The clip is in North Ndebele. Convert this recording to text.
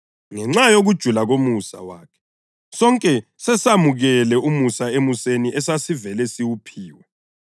Ngenxa yokujula komusa wakhe sonke sesamukele umusa emuseni esasivele siwuphiwe.